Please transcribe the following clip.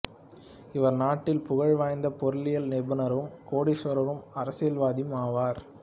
இவர் நாட்டில் புகழ் வாய்ந்த பொருளியல் நிபுணரும் கோடீசுவரரும் அரசியல்வாதியும் ஆவார்